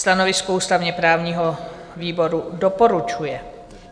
Stanovisko ústavně-právního výboru: doporučuje.